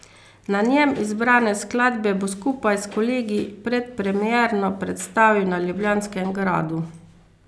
Na njem zbrane skladbe bo skupaj s kolegi predpremierno predstavil na Ljubljanskem gradu.